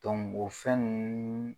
Dɔnku o fɛn ninnu